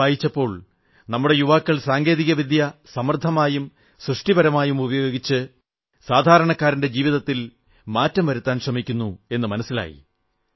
കൂടുതൽ വായിച്ചപ്പോൾ നമ്മുടെ യുവാക്കൾ സാങ്കേതികവിദ്യ സമർഥമായും സൃഷ്ടിപരമായും ഉപയോഗിച്ച് സാധാരണക്കാരന്റെ ജീവിതത്തിൽ മാറ്റം വരുത്താൻ ശ്രമിക്കുന്നു എന്നു മനസ്സിലായി